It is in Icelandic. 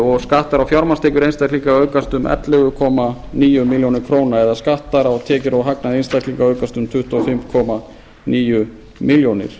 og skattar á fjármagnstekjur einstaklinga auk um ellefu komma níu milljónir króna eða skattar á tekjur og hagnað einstaklinga aukast um tuttugu og fimm komma níu milljónir